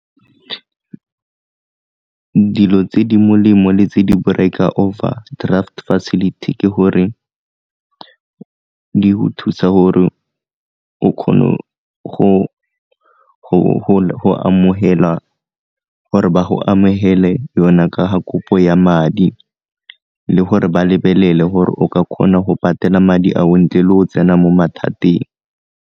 Dilo tse di molemo le tse di overdraft facility ke gore di go thusa gore o kgone go amogela gore ba go amogele yona ka ga kopo ya madi le gore ba lebelele gore o ka kgona go patela madi ao ntle le go tsena mo mathateng.